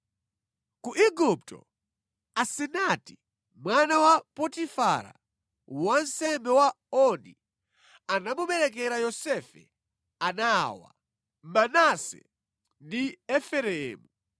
Ku Igupto, Asenati mwana wa Potifara wansembe wa Oni, anamuberekera Yosefe ana awa: Manase ndi Efereimu.